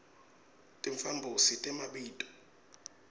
timphambosi temabito